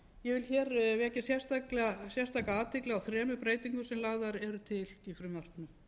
ég vil hér vekja sérstaka athygli á þremur breytingum sem lagðar eru til í frumvarpinu í